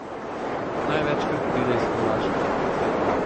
Največkrat pride iz Hrvaške.